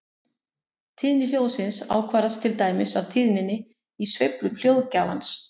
Tíðni hljóðsins ákvarðast til dæmis af tíðninni í sveiflum hljóðgjafans.